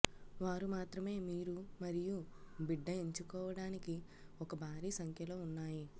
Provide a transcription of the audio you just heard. వారు మాత్రమే మీరు మరియు బిడ్డ ఎంచుకోవడానికి ఒక భారీ సంఖ్యలో ఉన్నాయి